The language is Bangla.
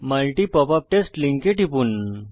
multi পপআপ টেস্ট লিঙ্কে টিপুন